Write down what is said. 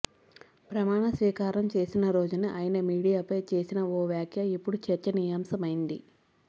ప్రమాణ స్వీకారం చేసిన రోజునే ఆయన మీడియాపై చేసిన ఓ వ్యాఖ్య ఇప్పుడు చర్చనీయాంశమైయింది